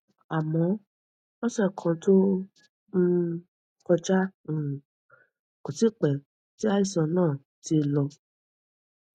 àmọ lọsẹ kan tó um kọjá um kò tíì pẹ tí àìsàn náà ti ń lọ